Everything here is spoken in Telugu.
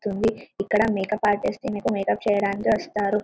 తుంది ఇక్కడ మేకప్ ఆర్టిస్ట్ లు మేకప్ చేయటానికి వస్తారు.